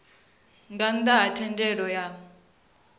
nga nnda ha thendelo ya